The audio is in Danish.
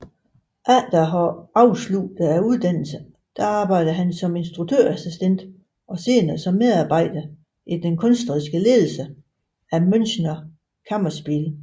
Efter at have afsluttet uddannelsen arbejdede han som instruktørassistent og senere som medarbejder i den kunstneriske ledelse af Münchner Kammerspiele